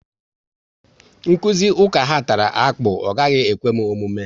Nkụzi ụka ha tara akpụ, ọ gaghị ekwe m omume